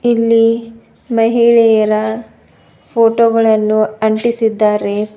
ಇಲ್ಲಿ ಮಹಿಳೆಯರ ಫೋಟೋ ಗಳನ್ನು ಅಂಟಿಸಿದ್ದಾರೆ.